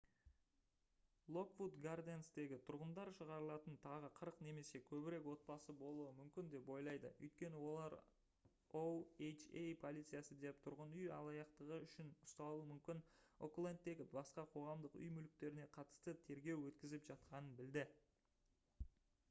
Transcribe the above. локвуд гарденстегі тұрғындар шығарылатын тағы 40 немесе көбірек отбасы болуы мүмкін деп ойлайды өйткені олар oha полициясы да тұрғын үй алаяқтығы үшін ұсталуы мүмкін оклендтегі басқа қоғамдық үй мүліктеріне қатысты тергеу өткізіп жатқанын білді